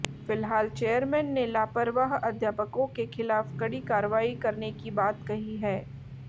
फिलहाल चेयरमैन ने लापरवाह अध्यापकों के खिलाफ कङी कार्यवाई करने की बात कही है